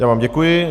Já vám děkuji.